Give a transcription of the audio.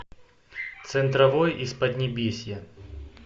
центровой из поднебесья